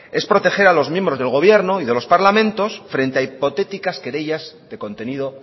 es proteger a los miembros del gobierno y de los parlamentos frente a hipotéticas querellas de contenido